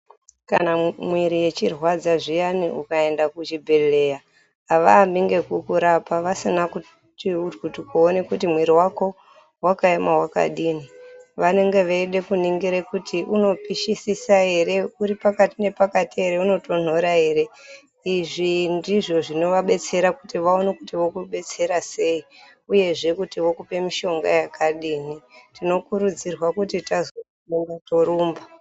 Kana mwiri ichirwadza zviyani ukaenda kuchibhehleya avaambi ngekukurapa vasina kuti chekuti mwiri wako wakaema wakadini vanenge veide kuningire kuti unopishisisa ere, uri pakati nepakati ere unotonhora ere. Izvi ndizvo zvinovabetsera kuti vaone kuti vokubetsera sei uyezve kuti vokupe mishonga yakadini tinokurudzirwa kuti tazwe ukosha torumba.